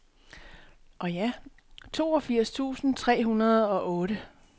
toogfirs tusind tre hundrede og otte